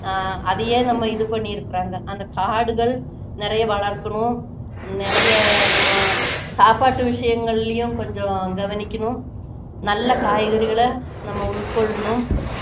ஆஹ் அதையே நம்ம இது பண்ணிருக்குறாங்க அந்த காடுகள் நிறைய வளர்க்கணும் நிறைய நம்ம சாப்பாட்டு விஷயங்களிலயும் கொஞ்சம் கவனிக்கணும் நல்ல காய்கறிகளை நாம உட்கொள்ளணும்